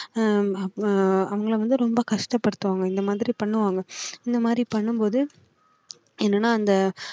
ஆஹ் அஹ் அவங்களை வந்து ரொம்ப கஷ்டப்படுத்துவாங்க இந்த மாதிரி பண்ணுவாங்க இந்த மாதிரி பண்ணும் போது என்னன்னா அந்த